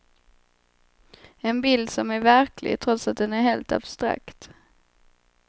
En bild som är verklig, trots att den är helt abstrakt.